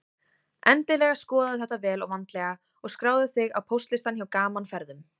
Endilega skoðaðu þetta vel og vandlega og skráðu þig á póstlistann hjá Gaman Ferðum.